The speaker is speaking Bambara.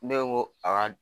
Ne ko n ko a ka